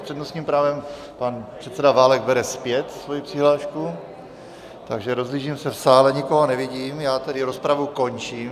S přednostním právem pan předseda Válek bere zpět svoji přihlášku, takže rozhlížím se v sále, nikoho nevidím, já tedy rozpravu končím.